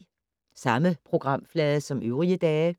Samme programflade som øvrige dage